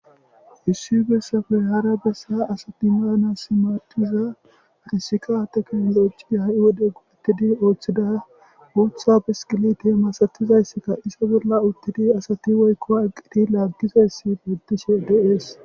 Issi bessa bollaara bessa asathi baanaassi maaddiza qassika teknoolojiya ha7i wode go7eththidi ooththida guuththa biskiliithe masathizayssika iza bolla uththidi asathi woykko anqqathi laaggizayssi beeththishee de7ees.